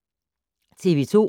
TV 2